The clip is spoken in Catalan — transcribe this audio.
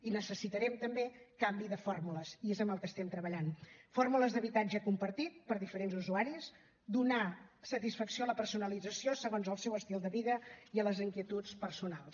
i necessitarem també canvi de fórmules i és en el que estem treballant fórmules d’habitatge compartit per diferents usuaris i donar satisfacció a la personalització segons el seu estil de vida i a les inquietuds personals